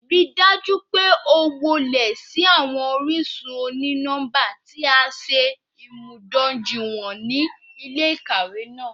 Rii daju pe o wọle si awọn orisun oni-nọmba ti a ṣe imudojuiwọn ni ile-ikawe naa